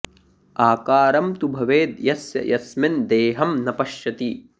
आकारं तु भवेद् यस्य यस्मिन् देहं न पश्यति